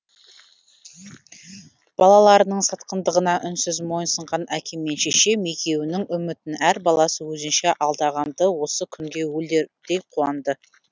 балаларының сатқындығына үнсіз мойынсынған әкем мен шешем екеуінің үмітін әр баласы өзінше алдаған ды осы күнге өлердей қуанды